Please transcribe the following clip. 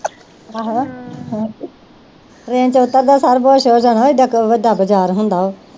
ਆਹੋ train ਚ ਉਤਰਦਿਆਂ ਸਾਰ ਬੇਹੋਸ਼ ਹੋ ਜਾਣਾ ਏਡਾ ਵੱਡਾ ਬਜ਼ਾਰ ਹੁੰਦਾ ਉਹ